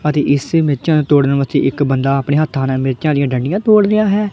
ਅਤੇ ਇਸੇ ਮਿਰਚਾਂ ਤੋੜਨ ਵਾਸਤੇ ਇੱਕ ਬੰਦਾ ਆਪਣੇ ਹੱਥਾਂ ਨਾਲ ਮਿਰਚਾਂ ਦੀਆਂ ਡੰਡੀਆਂ ਤੋੜ ਰਿਹਾ ਹੈ।